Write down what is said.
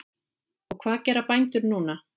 Og hvað gera bændur núna?